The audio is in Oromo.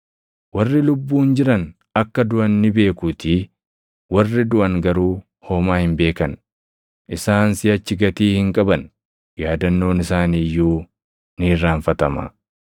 Warri lubbuun jiran akka duʼan ni beekuutii; warri duʼan garuu homaa hin beekan; isaan siʼachi gatii hin qaban; yaadannoon isaanii iyyuu ni irraanfatama.